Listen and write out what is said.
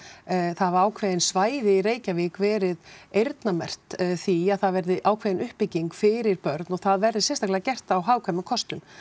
það hafa ákveðin svæði í Reykjavík verið eyrnamerkt því að það verði ákveðin uppbygging fyrir börn og það verði sérstaklega gert á hagkvæmum kostum